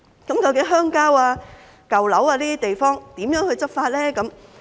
究竟在鄉郊、舊樓等地方如何執法呢？